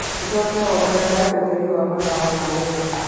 ũcoke wongerere utheri wa matawa ma nyũmba